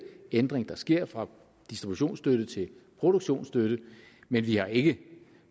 ændring der sker fra distributionsstøtte til produktionsstøtte men vi har ikke